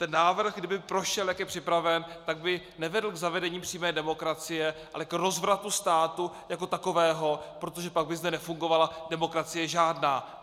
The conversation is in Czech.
Ten návrh, kdyby prošel, jak je připraven, tak by nevedl k zavedení přímé demokracie, ale k rozvratu státu jako takového, protože pak by zde nefungovala demokracie žádná.